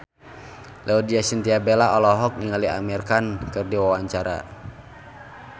Laudya Chintya Bella olohok ningali Amir Khan keur diwawancara